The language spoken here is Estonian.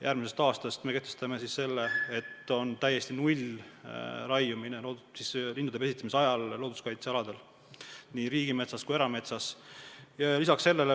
Järgmisest aastast me kehtestame sellise korra, et lindude pesitsemise ajal on looduskaitsealadel – nii riigimetsas kui ka erametsas – raiumine täiesti keelatud.